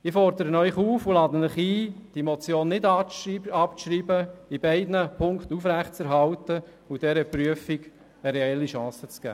Ich fordere Sie auf und lade Sie ein, diese Motion nicht abzuschreiben, sie in beiden Punkten aufrechtzuerhalten und dieser Prüfung eine reelle Chance zu geben.